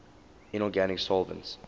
inorganic solvents